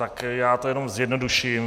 Tak já to jenom zjednoduším.